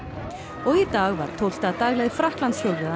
og í dag var tólfta dagleið